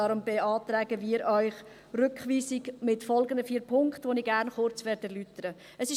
Daher beantragen wir Ihnen die Rückweisung mit folgenden vier Punkten, die ich gerne kurz erläutern will.